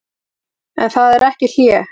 En það er ekki hlé.